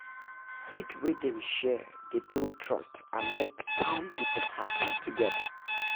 seed wey dem share dey build trust and make town people happy together